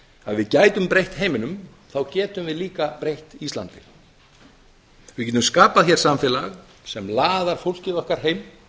að við gætum breytt heiminum getum við líka breytt íslandi við getum skapað hér samfélag sem laðar fólkið okkar heim